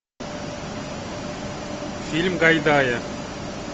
фильм гайдая